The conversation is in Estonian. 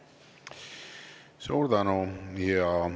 Suur tänu!